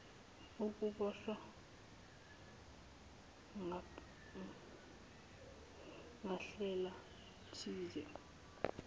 ukuboshwa ngandlela thize